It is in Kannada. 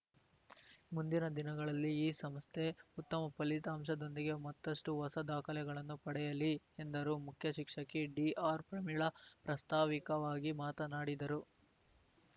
ಮುಂದಿನ ದಿನಗಳಲ್ಲಿ ಈ ಸಂಸ್ಥೆ ಉತ್ತಮ ಫಲಿತಾಂಶದೊಂದಿಗೆ ಮತ್ತಷ್ಟುಹೊಸ ದಾಖಲೆಗಳನ್ನು ಪಡೆಯಲಿ ಎಂದರು ಮುಖ್ಯ ಶಿಕ್ಷಕಿ ಡಿಆರ್‌ಪ್ರಮೀಳಾ ಪ್ರಸ್ತಾವಿಕವಾಗಿ ಮಾತನಾಡಿದರು